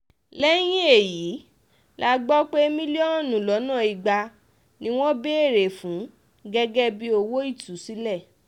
lẹ́yìn èyí la gbọ́ pé mílíọ̀nù lọ́nà ìgbà ni wọ́n béèrè fún gẹ́gẹ́ bíi owó ìtúsílẹ̀